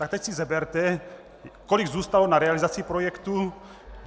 Tak teď si seberte, kolik zůstalo na realizaci projektu.